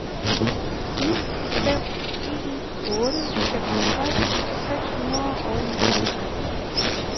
ni fem en otte femogtres seks hundrede og nioghalvfems